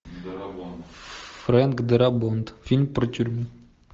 фрэнк дарабонт фильм про тюрьму